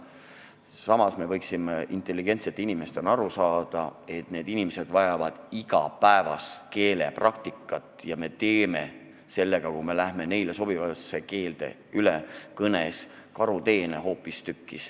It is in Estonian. Samas me võiksime intelligentsete inimestena aru saada, et need inimesed vajavad igapäevast keelepraktikat ja me teeme sellega, kui me läheme üle neile sobivale keelele, hoopistükkis karuteene.